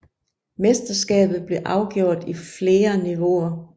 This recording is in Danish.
Mesterskabet blev afgjort i flere niveauer